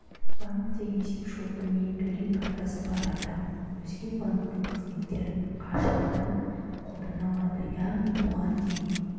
банкте есепшоты мен төлем картасы бар адам өзге банктің қызметтерін қашықтан қолдана алады яғни бұған дейін